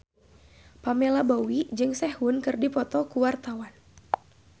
Pamela Bowie jeung Sehun keur dipoto ku wartawan